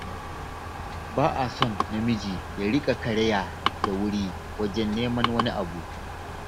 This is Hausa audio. Ba a son namiji ya riƙa karaya da wuri wajen neman wani abu.